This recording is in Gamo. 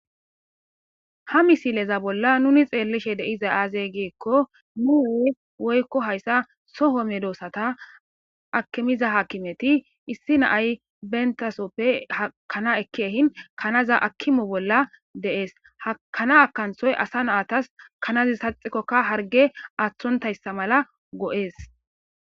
ha misileza bolla nuni xeellishe deiza aaze gikko nuu woykko hayssa soho me doossata akimiza hakimeti issi naay bentasoppe hakana ekki ehin kanaza akimo bolla deees hakana kanthoy asa naatas kanazi saxikkokka harge aaththontayssa mala go7ees